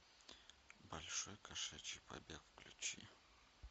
большой кошачий побег включи